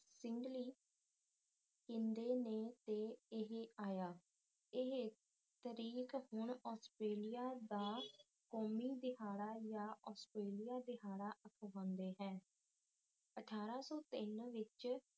ਕਿੰਦੇ ਨੇ ਤੇ ਇਹ ਆਇਆ ਇਹ ਤਰੀਖ਼ ਹੁਣ ਆਸਟ੍ਰੇਲੀਆ ਦਾ ਕੌਮੀ ਦਿਹਾੜਾ ਯਾ ਆਸਟ੍ਰੇਲੀਆ ਦਿਹਾੜਾ ਅਖਵਾਂਦਾ ਹੈ ਅਠਾਰਾ ਸੌ ਤਿੰਨ ਵਿੱਚ